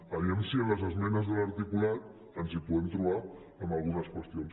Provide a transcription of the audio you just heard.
vejam si en les esmenes a l’articulat ens hi podem trobar en algunes qüestions